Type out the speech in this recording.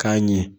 K'a ɲɛ